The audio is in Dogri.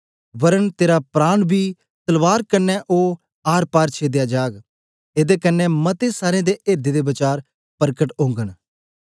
वरन तेरा प्राण बी तलवार कन्ने ओ आरपार छेदया जाग एदे कन्ने मते सारे एर्दें दे वचार परकट ओगन